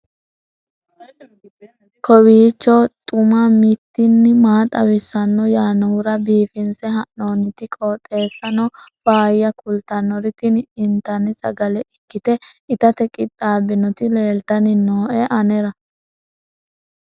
kowiicho xuma mtini maa xawissanno yaannohura biifinse haa'noonniti qooxeessano faayya kultannori tini intanni sagale ikkite itate qixxaabbinoti leeltanni nooe anera